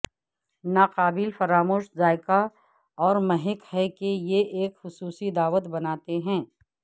ناقابل فراموش ذائقہ اور مہک ہے کہ یہ ایک خصوصی دعوت بناتے ہیں